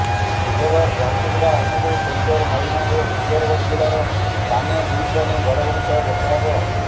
ବୁଧବାର ଝାରସୁଗୁଡ଼ା ଅନୁଗୁଳ କେନ୍ଦୁଝର ମୟୂରଭଞ୍ଜ ଓ ସୁନ୍ଦରଗଡ଼ ଜିଲ୍ଲାର ସ୍ଥାନେ ଦୁଇସ୍ଥାନେ ଘଡ଼ଘଡ଼ି ସହ ବର୍ଷା ହେବ